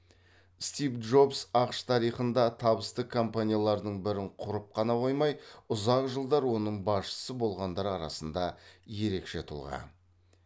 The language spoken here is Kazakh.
стив джобс ақш тарихында табысты компаниялардың бірін құрып қана қоймай ұзақ жылдар оның басшысы болғандар арасында ерекше тұлға